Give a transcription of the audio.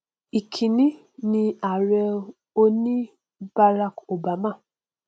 ìkíní ni ààrẹ òní barak obama